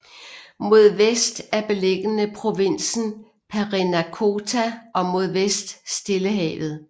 Mod vest er beliggende provinsen Parinacota og mod vest Stillehavet